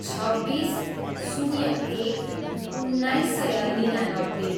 छब्बिस, शून्य एक, उन्नाइस सय निनानब्बे